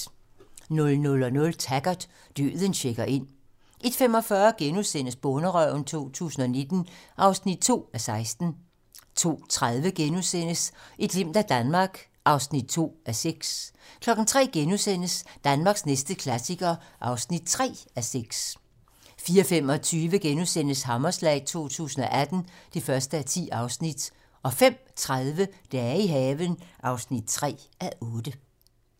00:00: Taggart: Døden checker ind 01:45: Bonderøven 2019 (2:16)* 02:30: Et glimt af Danmark (2:6)* 03:00: Danmarks næste klassiker (3:6)* 04:25: Hammerslag 2018 (1:10)* 05:30: Dage i haven (3:8)